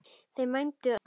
Þau mændu öll á mig.